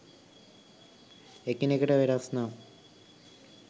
එකිනෙකට වෙනස් නම්